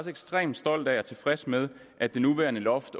ekstremt stolt af og tilfreds med at det nuværende loft